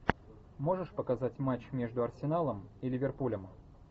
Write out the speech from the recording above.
можешь показать матч между арсеналом и ливерпулем